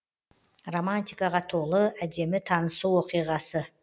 романтикаға толы әдемі танысу оқиғасы